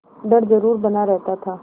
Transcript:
डर जरुर बना रहता था